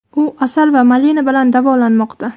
U asal va malina bilan davolanmoqda.